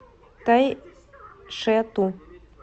тайшету